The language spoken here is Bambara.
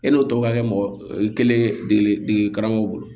E n'o tɔ ka kɛ mɔgɔ kelen dege dege karamɔgɔ bolo